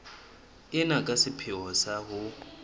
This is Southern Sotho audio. ena ka sepheo sa ho